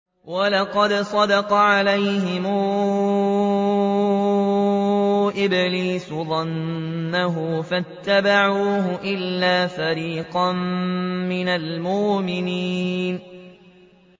وَلَقَدْ صَدَّقَ عَلَيْهِمْ إِبْلِيسُ ظَنَّهُ فَاتَّبَعُوهُ إِلَّا فَرِيقًا مِّنَ الْمُؤْمِنِينَ